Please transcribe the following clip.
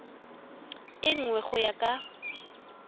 e nngwe go ya ka